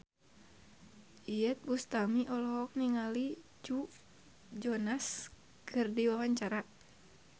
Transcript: Iyeth Bustami olohok ningali Joe Jonas keur diwawancara